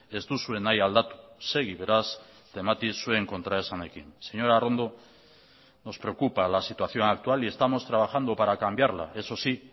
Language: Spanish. ez duzue nahi aldatu segi beraz temati zuen kontraesanekin señora arrondo nos preocupa la situación actual y estamos trabajando para cambiarla esos sí